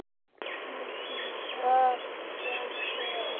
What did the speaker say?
Hvað gengur á?